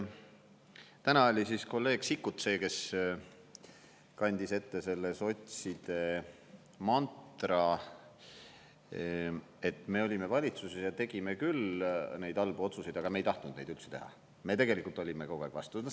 Täna oli siis kolleeg Sikkut see, kes kandis ette selle sotside mantra, et me olime valitsuses ja tegime küll neid halbu otsuseid, aga me ei tahtnud neid üldse teha, me tegelikult olime kogu aeg vastu.